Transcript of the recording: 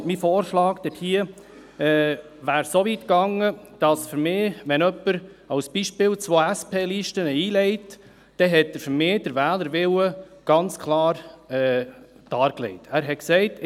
Mein Vorschlag dazu wäre so weit gegangen, dass jemand, wenn er zum Beispiel zwei SP-Listen einlegt, aus meiner Sicht den Wählerwillen ganz klar dargelegt hat.